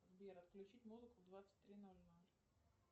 сбер отключить музыку в двадцать три ноль ноль